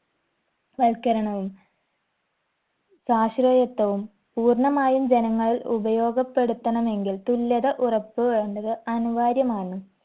വൽക്കരണവും സാശ്രയത്ത്വവും പൂർണമായും ജനങ്ങൾ ഉപയോഗപ്പെടുത്തണമെങ്കിൽ തുല്യത ഉറപ്പ് വേണ്ടത് അനിവാര്യമാണ്